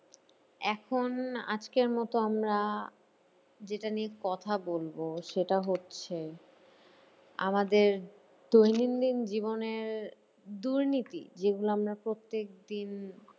এখন আজকের মতো আমরা যেটা নিয়ে কথা বলবো সেটা হচ্ছে আমাদের দৈনন্দিন জীবনের দুর্নীতি যেগুলো আমরা প্রত্যেকদিন